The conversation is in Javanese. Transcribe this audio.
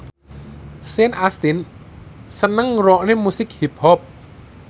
Sean Astin seneng ngrungokne musik hip hop